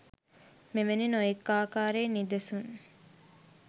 මෙවැනි නොයෙක් ආකාරයේ නිදසුන්